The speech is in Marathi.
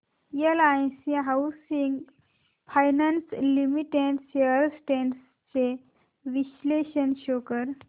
LIC housing finance limited shares trends चे विश्लेषण शो कर